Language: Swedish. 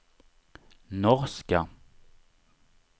norska